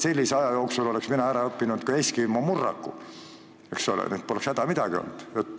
Sellise aja jooksul oleks mina ära õppinud ka eskimo murraku, eks ole, nii et poleks midagi häda olnud.